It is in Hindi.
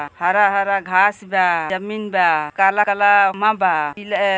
हरा-हरा घास बा। जमीन बा। काला-काला मा बा। --